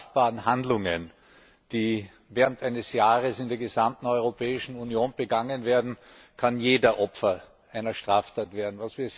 strafbaren Handlungen, die während eines Jahres in der gesamten Europäischen Union begangen werden, kann jeder Opfer einer Straftat werden.